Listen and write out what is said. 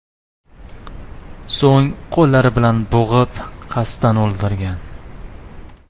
So‘ng qo‘llari bilan bo‘g‘ib, qasddan o‘ldirgan.